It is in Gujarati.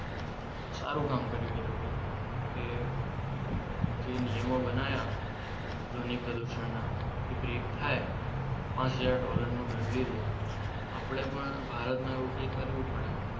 સારું કામ કર્યું એ લોકોએ કે જે નિયમો બનાવ્યા ધ્વનિ પ્રદૂષણના એ બ્રેક થાય. પાંચ હજાર ડોલરનો દંડ લીધો આપણે પણ ભારતમાં એવું કંઈક કરવું પડે.